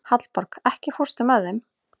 Hallborg, ekki fórstu með þeim?